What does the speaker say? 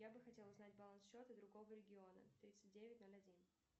я бы хотел узнать баланс счета другого региона тридцать девять ноль один